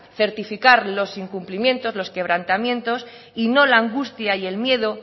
certificar los incumplimientos los quebrantamientos y no la angustia y el medio